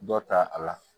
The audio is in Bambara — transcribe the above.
Dɔ ta a la